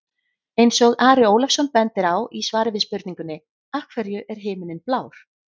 Eins og Ari Ólafsson bendir á í svari við spurningunni Af hverju er himinninn blár?